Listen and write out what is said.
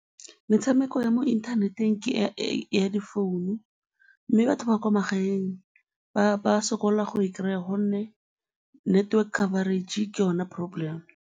Metshameko ya mo inthaneteng ke ya difounu mme batho ba kwa magaeng ba sokola go e kry-a gonne network coverage ke yona problem.